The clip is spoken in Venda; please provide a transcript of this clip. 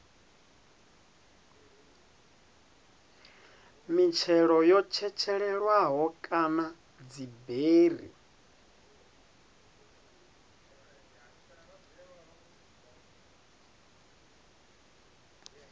mitshelo yo tshetshelelwaho kana dziberi